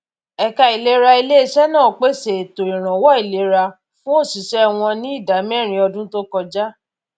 ẹka ìlera ilé-iṣẹ náà pèsè ètò ìrànwọ ìlera fún òṣìṣẹ wọn ní ìdá mẹrin ọdún tó kọjá